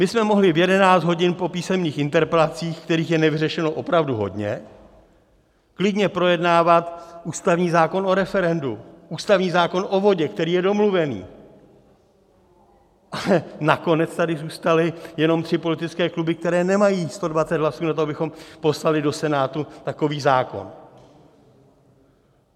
My jsme mohli v 11 hodin po písemných interpelacích, kterých je nevyřešeno opravdu hodně, klidně projednávat ústavní zákon o referendu, ústavní zákon o vodě, který je domluvený, ale nakonec tady zůstaly jenom tři politické kluby, které nemají 120 hlasů na to, abychom poslali do Senátu takový zákon.